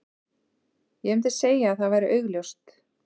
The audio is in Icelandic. Ég myndi segja að það væri augljóst.